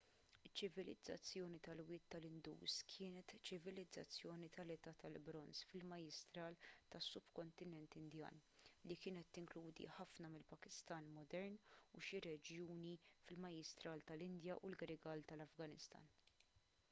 iċ-ċivilizzazzjoni tal-wied tal-indus kienet ċivilizzazzjoni tal-età tal-bronż fil-majjistral tas-subkontinent indjan li kienet tinkludi ħafna mill-pakistan modern u xi reġjuni fil-majjistral tal-indja u l-grigal tal-afganistan